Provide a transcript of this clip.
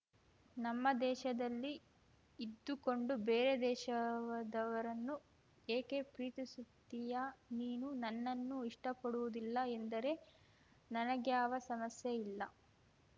ನಮ್ಮ ದೇಶದಲ್ಲಿ ಇದ್ದುಕೊಂಡು ಬೇರೆ ದೇಶವದವರನ್ನು ಏಕೆ ಪ್ರೀತಿಸುತ್ತೀಯಾ ನೀನು ನನ್ನನ್ನು ಇಷ್ಟಪಡುವುದಿಲ್ಲ ಎಂದರೆ ನನಗ್ಯಾವ ಸಮಸ್ಯೆ ಇಲ್ಲ